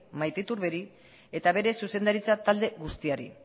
maite iturberi eta bere zuzendaritza talde guztiari